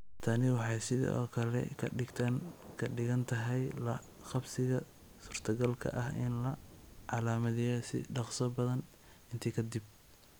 Tani waxay sidoo kale ka dhigan tahay la-qabsiga suurtagalka ah in la calaamadiyo si ka dhaqso badan intii ka dib.